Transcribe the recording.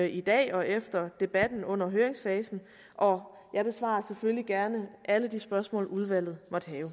i dag og efter debatten under høringsfasen og jeg besvarer selvfølgelig gerne alle de spørgsmål udvalget